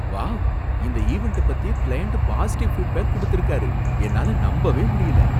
Wow! இந்த ஈவென்ட்ட பத்தி கிளையன்ட் பாசிடிவ் ஃபீட்பேக் குடுத்திருக்காரு, என்னால நம்பவே முடியல.